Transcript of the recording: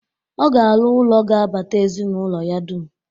Ọ ga-arụ ụlọ ga-abata ezinaụlọ ya dum.